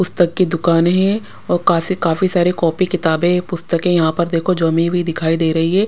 पुस्तक की दुकान है और कासी काफी सारी कॉपी किताबें पुस्तकें यहाँ पर देखो जमी हुई दिखाई दे रही है।